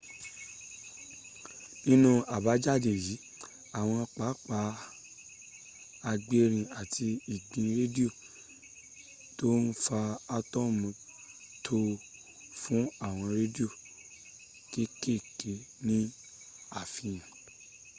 nínú àbájáde yìí àwọn pápá agbérin àti ìgbì rádíò tó ń fa átọ̀mù tó fún àwọn rádìò kéèkèé ní àfihàn